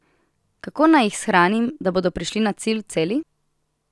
Kako naj jih shranim, da bodo prišli na cilj celi?